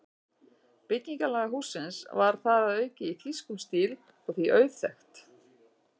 Byggingarlag hússins var þar að auki í þýskum stíl og því auðþekkt.